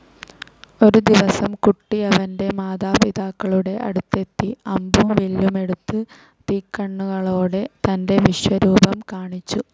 ഒരു ദിവസം കുട്ടി അവന്റെ മാതാപിതാക്കളുടെ അടുത്തെത്തി അമ്പും വില്ലുമെടുത്ത് തീക്കണ്ണുകളോടെ തന്റെ വിശ്വരൂപം കാണിച്ചു.